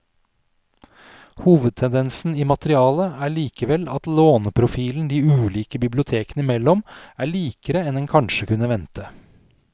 Hovedtendensen i materialet er likevel at låneprofilen de ulike bibliotekene imellom er likere enn en kanskje kunne vente.